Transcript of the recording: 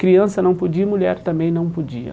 Criança não podia e mulher também não podia.